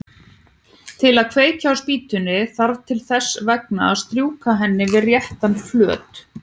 Til að kveikja á spýtunni þarf þess vegna að strjúka henni við réttan flöt.